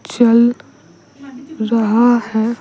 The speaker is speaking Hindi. चल रहा है।